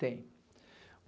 Tem.